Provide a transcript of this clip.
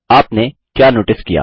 आपने क्या नोटिस किया